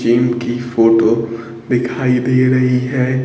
Gym की photo दिखाई दे रही है।